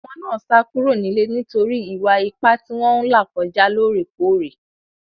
Àwọn ọmọ náà sá kúrò nílé nítorí Ìwà-ipá tí wọ́n ń là kọjá lóòrèkóòrè.